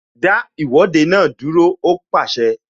Dá Ìwọ́de náà dúró! Ó pàṣẹ